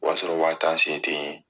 O y'a sɔrɔ waa tan sen ten ye